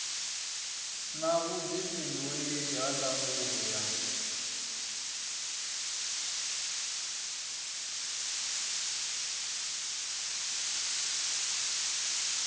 na vhuifhinduleli ha ndangulo ya